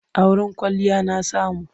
A wurin kwalliya na samu.